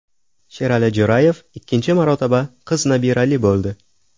Sherali Jo‘rayev ikkinchi marotaba qiz nabirali bo‘ldi.